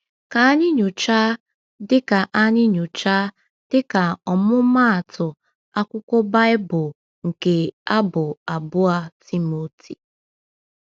Ka anyị nyochaa, dịka anyị nyochaa, dịka ọmụmaatụ, akwụkwọ Baịbụl nke Abụ abụọ Timoteo.